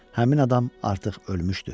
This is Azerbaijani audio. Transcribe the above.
Həmin adam artıq ölmüşdü.